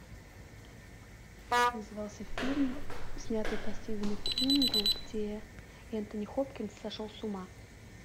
как назывался фильм снятый по стивену кингу где энтони хопкинс сошел с ума